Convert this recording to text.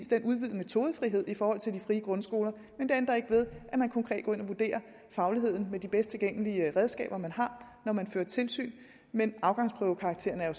den udvidede metodefrihed i forhold til de frie grundskoler men det ændrer ikke ved at man konkret går ind og vurderer fagligheden med de bedst tilgængelige redskaber man har når man fører tilsyn men afgangsprøvekaraktererne er jo